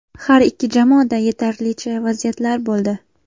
Har ikki jamoada yetarlicha vaziyatlar bo‘ldi.